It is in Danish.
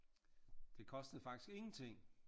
Det kostede faktisk ingenting